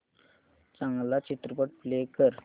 चांगला चित्रपट प्ले कर